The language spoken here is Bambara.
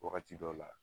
Wagati dɔw la